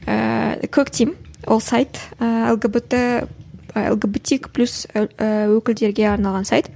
ііі коктим ол сайт ііі лгбт лгбтик плюс өкілдерге арналған сайт